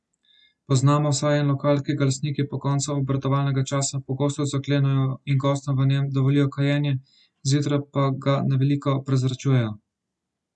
Poznamo vsaj en lokal, ki ga lastniki po koncu obratovalnega časa pogosto zaklenejo in gostom v njem dovolijo kajenje, zjutraj pa ga na veliko prezračujejo.